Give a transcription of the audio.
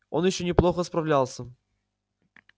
он ещё неплохо справлялся